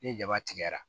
Ni jaba tigɛra